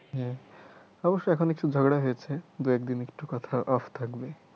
অবশ্যই এখন একটু ঝগড়া হয়েছে দু এক দিন একটু কথা off থাকবে।